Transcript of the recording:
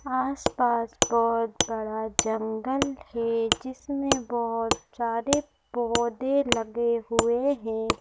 आस पास बहोत बड़ा जंगल है जिसमें बहुत सारे पौधे लगे हुए हैं।